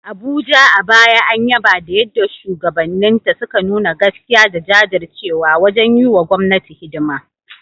Abuja, a baya an yaba da yadda shugabanninta suka nuna gaskiya da jajircewa wajen yi wa gwamnati hidima.